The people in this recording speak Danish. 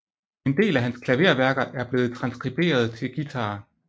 En del af hans klaverværker er blevet transkriberet til guitar